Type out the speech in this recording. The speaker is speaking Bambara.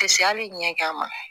Tɛ se hali ɲɛ gan ma